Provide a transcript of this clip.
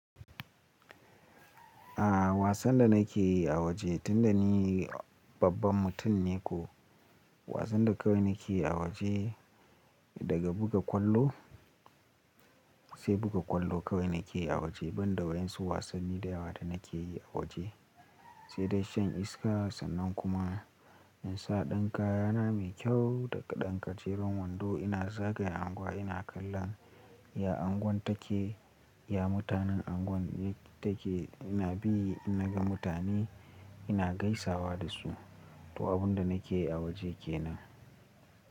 A'a wasan da nake yi a waje tun da ni babban mutum ne ko wasan da kawai nake a waje daga buga ƙwallo sai buga ƙwallo kawai nake a waje banda wa yansu wasanni da yawa da nake yi a waje, sai dai shan iska sannan kuma in sa dankaya na mai kyau da ƙadan ƙaciran wando ina zagaya anguwa ina kallon ya anguwan take, ya mutanen anguwan take ina bi ina ga mutane ina gaisawa da su. To abun da nake a waje kenan.